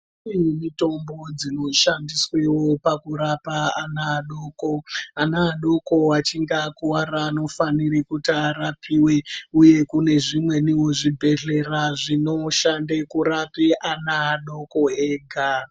Kune mitombo dzinoshandiswawo kurapa ana adoko ana adoko kana achinge akuwarawo anofana kuti arapiwe kune zvimweniwo zvibhedhlera zvinoshanda kurapa ana adoko ega.